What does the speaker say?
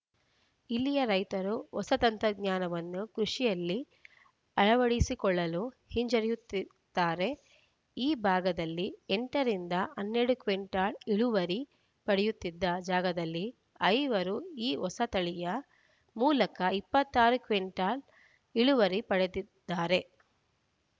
ಇಲ್ಲಿಯ ರೈತರು ಹೊಸ ತಂತ್ರಜ್ಞಾನವನ್ನು ಕೃಷಿಯಲ್ಲಿ ಅಳವಡಿಸಿಕೊಳ್ಳಲು ಹಿಂಜರಿಯುತ್ತಾರೆ ಈ ಭಾಗದಲ್ಲಿ ಎಂಟು ರಿಂದ ಹನ್ನೆರಡು ಕ್ವಿಂಟಲ್‌ ಇಳುವರಿ ಪಡೆಯುತ್ತಿದ್ದ ಜಾಗದಲ್ಲಿ ಐವರು ಈ ಹೊಸ ತಳಿಯ ಮೂಲಕ ಇಪ್ಪತ್ತ್ ಆರು ಕ್ವಿಂಟಲ್‌ ಇಳುವರಿ ಪಡೆದಿದ್ದಾರೆ